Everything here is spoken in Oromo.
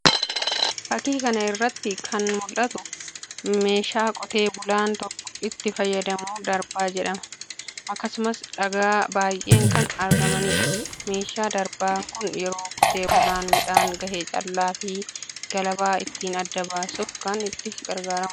Fakii kana irratti kan mul'atu meeshaa qotee bulaan itti fayyadamu darbaa jedhama. Akkasumas dhagaa baay'een kan argamanidha. meeshaan darbaa kun yeroo qotee bulaan midhaan gahee callaa fi galabaa ittiin adda baasuuf kan itti gargaarramudha.